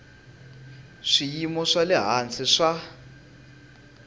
swiyimo swa le hansi swa